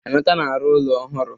Emeka na-arụ ụlọ ohụrụ.